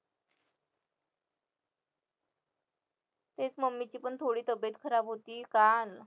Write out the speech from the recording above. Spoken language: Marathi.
तेच mummy ची पण थोडी तब्येत खराब होती काल